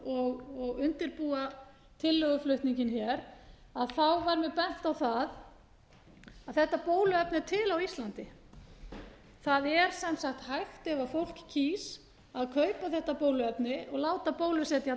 og undirbúa tillöguflutninginn hér að þá var mér bent á það að þetta bóluefni er til á íslandi það er sem sagt hægt ef fólk kýs að kaupa þetta bóluefni og láta bólusetja